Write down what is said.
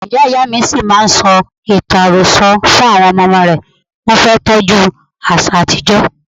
Ìyá Ìyámi ṣì máa ń sọ ìtàn àròsọ fún àwọn ọmọ ọmọ rẹ̀, wọn fẹ́ tọ́jú àṣà àtijó.